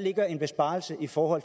ligger en besparelse i forhold